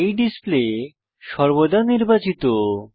এই ডিসপ্লে সর্বদা নির্বাচিত